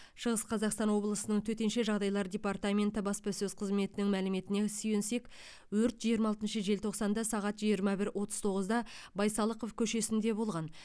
шығыс қазақстан облысының төтенше жағдайлар департаменті баспасөз қызметінің мәліметіне сүйенсек өрт жиырма алтыншы желтоқсанда сағат жиырма бір отыз тоғызда байсалықов көшесінде болған